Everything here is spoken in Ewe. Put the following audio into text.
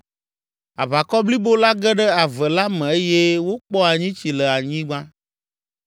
Aʋakɔ blibo la ge ɖe ave la me eye wokpɔ anyitsi le anyigba.